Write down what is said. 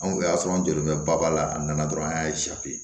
Anw y'a sɔrɔ an jɔlen bɛ ba la a nana dɔrɔn an y'a